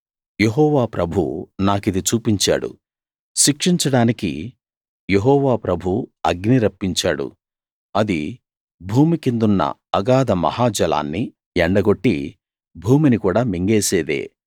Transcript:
యెహోవా ప్రభువు నాకిది చూపించాడు శిక్షించడానికి యెహోవా ప్రభువు అగ్ని రప్పించాడు అది భూమి కిందున్న అగాధ మహా జలాన్ని ఎండగొట్టి భూమిని కూడా మింగేసేదే